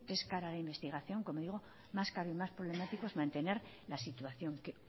es cara la investigación como digo más cara y más problemático es mantener la situación que